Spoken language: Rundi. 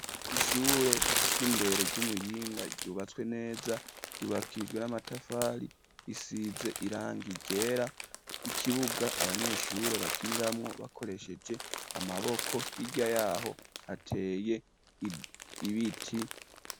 Ishure ry'indero ry'i Muyinga ryubatswe neza, ryubakishijwe n'amatafari, isize irangi ryera. Ikibuga abanyeshure bakiniramwo bakoresheje amaboko hirya y'aho hateye ibiti.